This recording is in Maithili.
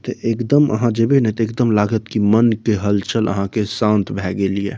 ते एक दम वहाँ जाइबे न ते एक दम लागत की मन के हलचल आ के शांत भै गेलिए |